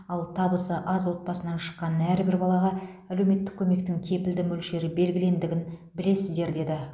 ал табысы аз отбасынан шыққан әрбір балаға әлеуметтік көмектің кепілді мөлшері белгілендігін білесіздер деді